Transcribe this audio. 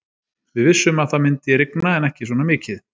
Við vissum að það myndi rigna en ekki svona mikið.